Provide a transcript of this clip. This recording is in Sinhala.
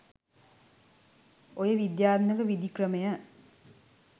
ඔය විද්‍යාත්මක විධි ක්‍රමය